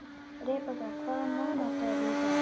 Rebekka, hvaða mánaðardagur er í dag?